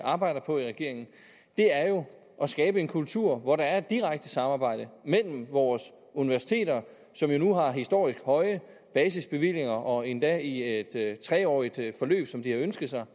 arbejder på i regeringen er jo at skabe en kultur hvor der er et direkte samarbejde mellem vores universiteter som jo nu har historisk høje basisbevillinger og endda i et tre årig t forløb som de har ønsket sig